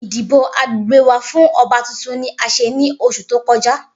Idibo agbegbe wa fun ọba tuntun ni a ṣe ni oṣu to kọja.